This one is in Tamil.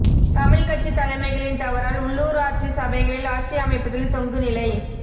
தமிழ் கட்சி தலைமைகளின் தவறால் உள்ளூராட்சி சபைகளில் ஆட்சி அமைப்பதில் தொங்கு நிலை